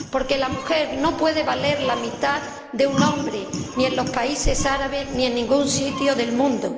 Porque la mujer no puede valer la mitad de un hombre, ni en los países árabes, ni en ningún sitio del mundo.